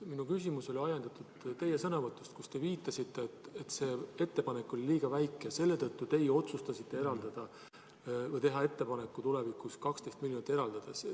Minu küsimus oli ajendatud teie sõnavõtust, kus te viitasite, et see ettepanek oli liiga väike ja selle tõttu teie otsustasite teha ettepaneku tulevikus 12 miljonit eraldada.